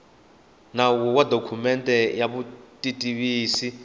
nawu ya dokumende ya vutitivisi